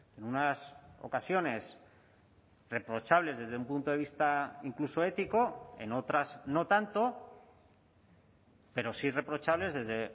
en unas ocasiones reprochables desde un punto de vista incluso ético en otras no tanto pero sí reprochables desde